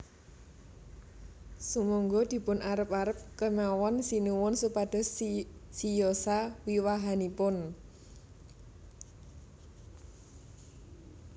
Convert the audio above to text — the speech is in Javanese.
Sumangga dipun arep arep kemawon Sinuwun supados siyosa wiwahanipun